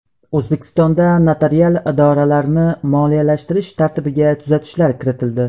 O‘zbekistonda notarial idoralarni moliyalashtirish tartibiga tuzatishlar kiritildi.